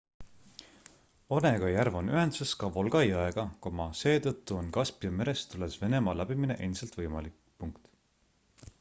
onega järv on ühenduses ka volga jõega seetõttu on kaspia merest tulles venemaa läbimine endiselt võimalik